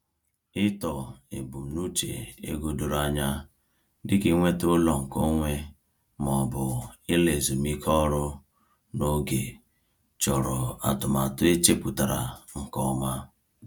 Ịtọ ebumnuche ego doro anya dịka inweta ụlọ nke onwe ma ọ bụ ịla ezumike ọrụ n’oge chọrọ atụmatụ e chepụtara nke ọma.